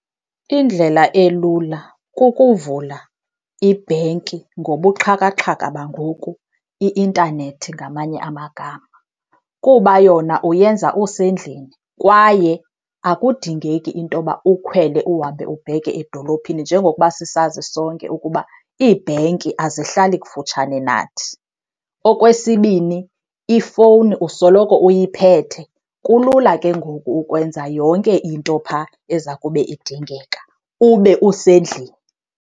Indlela elula kukuvula ibhenki ngobuxhakaxhaka bangoku, i-intanethi ngamanye amagama. Kuba yona uyenza usendlini kwaye akudingeki into yoba ukhwele uhambe ubheke edolophini njengokuba sisazi sonke ukuba iibhenki azihlali kufutshane nathi. Okwesibini, ifowuni usoloko uyiphete, kulula ke ngoku ukwenza yonke into phaa eza kube idingeka, ube usendlini.